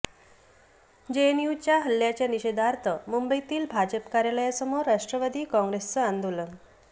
JNU हल्ल्याच्या निषेधार्थ मुंबईतील भाजप कार्यलयासमोर राष्ट्रवादी काँग्रेसचं आंदोलन